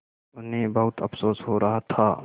उन्हें बहुत अफसोस हो रहा था